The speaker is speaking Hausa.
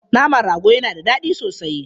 Naman rago yana da daɗi sosai.